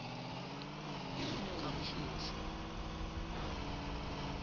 kamhlushwa